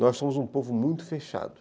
Nós somos um povo muito fechado.